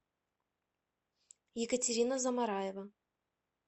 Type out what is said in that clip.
екатерина замараева